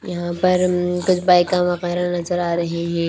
यहां पर मम कुछ बाइक नजर आ रही हे।